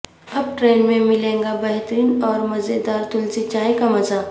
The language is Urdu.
اب ٹرین میں ملیگا بہترین اور مزے دارتلسی چائے کا مزہ